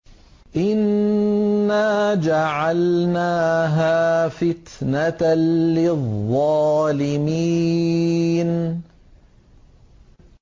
إِنَّا جَعَلْنَاهَا فِتْنَةً لِّلظَّالِمِينَ